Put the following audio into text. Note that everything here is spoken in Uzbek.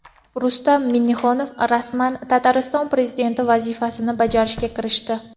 Rustam Minnixanov rasman Tatariston prezidenti vazifasini bajarishga kirishdi.